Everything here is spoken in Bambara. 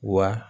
Wa